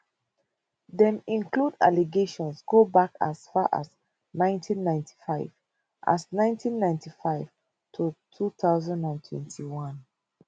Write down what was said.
dem include allegations go back as far as 1995 as 1995 to 2021